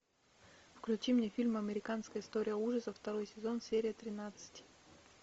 включи мне фильм американская история ужасов второй сезон серия тринадцать